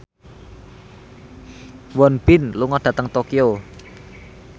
Won Bin lunga dhateng Tokyo